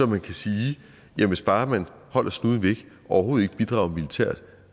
man kan sige at hvis bare man holder snuden væk og overhovedet ikke bidrager militært